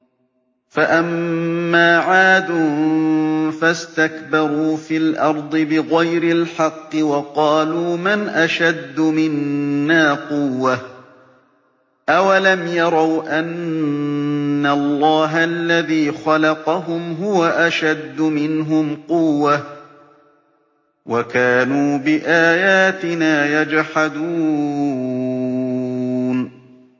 فَأَمَّا عَادٌ فَاسْتَكْبَرُوا فِي الْأَرْضِ بِغَيْرِ الْحَقِّ وَقَالُوا مَنْ أَشَدُّ مِنَّا قُوَّةً ۖ أَوَلَمْ يَرَوْا أَنَّ اللَّهَ الَّذِي خَلَقَهُمْ هُوَ أَشَدُّ مِنْهُمْ قُوَّةً ۖ وَكَانُوا بِآيَاتِنَا يَجْحَدُونَ